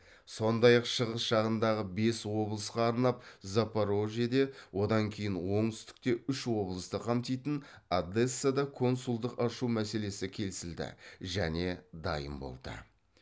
сондай ақ шығыс жағындағы бес облысқа арнап запорожьеде одан кейін оңтүстікте үш облысты қамтитын одессада консулдық ашу мәселесі келісілді және дайын болды